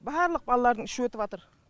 барлық балалардың іші өтіп жатыр